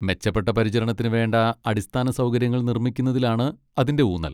മെച്ചപ്പെട്ട പരിചരണത്തിന് വേണ്ട അടിസ്ഥാനസൗകര്യങ്ങൾ നിർമ്മിക്കുന്നതിലാണ് അതിൻ്റെ ഊന്നൽ.